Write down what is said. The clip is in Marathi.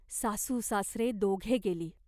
सासूसासरे, दोघे गेली.